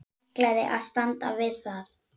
Ætlaði að standa við það.